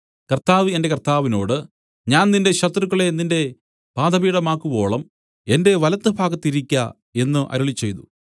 കർത്താവ് എന്റെ കർത്താവിനോട് ഞാൻ നിന്റെ ശത്രുക്കളെ നിന്റെ പാദപീഠമാക്കുവോളം എന്റെ വലത്തുഭാഗത്തിരിക്ക എന്നു അരുളിച്ചെയ്തു